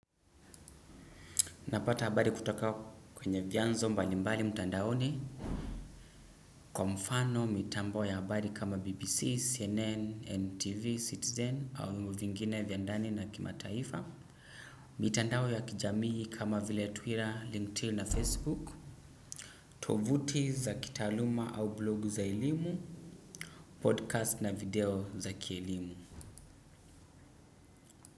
Napata habari kutoka kwa vianzo mbalimbali mtandaoni kwa mfano mitambo ya habari kama BBC CNN NTV citizen au vingine vya ndani na kimataifa. Mitandao ya kijamii kama vile Twitter, LinkedIn na Facebook. Tovuti za kitaluma au blog za elimu, podcast na video za kielimu.